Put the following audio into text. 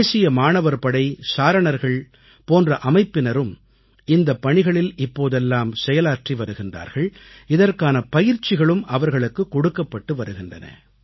தேசிய மாணவர் படை சாரணர்கள் போன்ற அமைப்பினரும் இந்தப் பணிகளில் இப்போதெல்லாம் செயலாற்றி வருகின்றார்கள் இதற்கான பயிற்சிகளும் அவர்களுக்குக் கொடுக்கப்பட்டு வருகின்றன